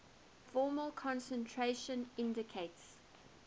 formal concentration indicates